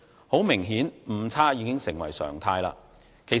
很明顯，誤差已經成為常態。